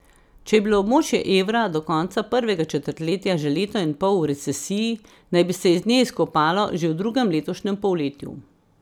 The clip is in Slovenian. Če je bilo območje evra do konca prvega četrtletja že leto in pol v recesiji, naj bi se iz nje izkopalo že v drugem letošnjem polletju.